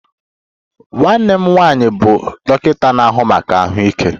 Nwanne m nwanyị bụ dọkịta na-ahụ maka ahụike